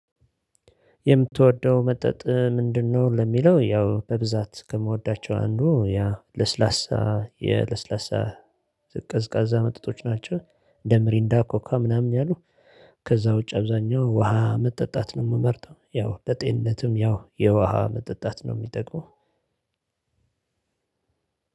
የምትወደው መጠጥ ምንድንነው ለሚለው ያው በብዛት ከምወዳቸው አንዱ ያ ለስላሳ የለስላሳ ቀዝቃዛ መጠጦች ናቸው እንደ ሚሪንዳ ኮካ ምናምን ያሉ። ከዛ ውጭ አብዛኛው ውሃ መጠጣት ነው የምመርጠው። ያው ለጤንነትም ያው የውሃ መጠጣት ነው የሚጠቅመው።